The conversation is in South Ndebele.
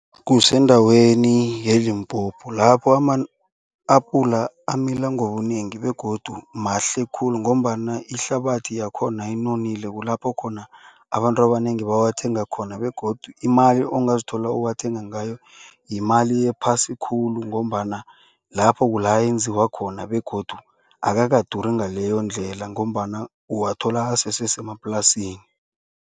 Kusendaweni ye-Limpopo lapho ama-apula amila ngobunengi begodu mahle khulu. Ngombana ihlabathi yakhona inonile kulapho khona abantu abanengi bawathenge khona begodu imali ongazithola ukuwathenga ngayo yimali ephasi khulu. Ngombana lapho kulapha enziwa khona begodu akakaduri ngaleyondlela ngombana uwathola asesesemaplasini.